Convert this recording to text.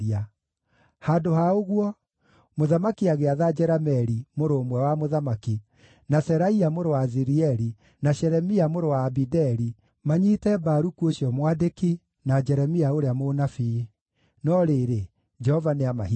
Handũ ha ũguo, mũthamaki agĩatha Jerameeli, mũrũ ũmwe wa mũthamaki, na Seraia mũrũ wa Azirieli, na Shelemia mũrũ wa Abideli, nĩguo manyiite Baruku ũcio mwandĩki, na Jeremia ũrĩa mũnabii. No rĩrĩ, Jehova nĩamahithĩte.